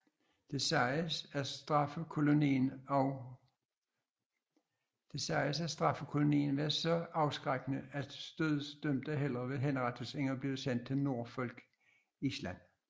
Det siges at straffekolonien var så afskrækkende at dødsdømte hellere ville henrettes end blive sendt til Norfolk Island